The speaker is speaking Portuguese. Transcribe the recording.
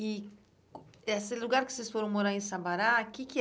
E esse lugar que vocês foram morar em Sabará, o que que